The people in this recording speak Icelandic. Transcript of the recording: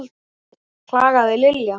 klagaði Lilla.